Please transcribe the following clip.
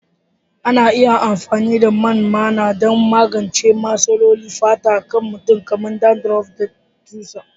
Ana iya amfani da man maina don magance matsalolin fatar kan mutum kamar dandruff da tsutsa